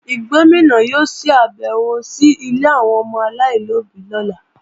Gómìnà yóò ṣàbèwò sí ilé àwọn ọmọ aláìlóbí lọ́la